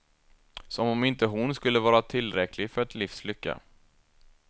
Som om inte hon skulle vara tillräcklig för ett livs lycka.